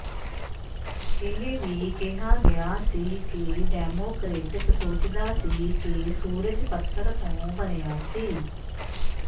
ਇਹ ਵੀ ਕਿਹਾ ਗਿਆ ਸੀ ਕਿ ਡੈਮੋਕਰੇਟਸ ਸੋਚਦਾ ਸੀ ਕਿ ਸੂਰਜ ਪੱਥਰ ਤੋਂ ਬਣਿਆ ਸੀ